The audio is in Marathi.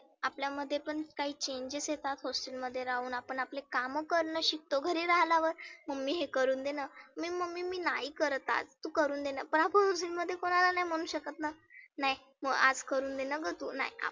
आपल्यामध्ये पण काही changes येतात hostel मध्ये राहुन आपण आपले काम करणं शिकतो. घरी राहल्यावर mummy हे करुण देना, मी mummy नाही करत आज. तु करुण देणा. पण hostel मध्ये कोणाला नाही म्हणु शकतना. नाय आज करुण देना हं तु नाय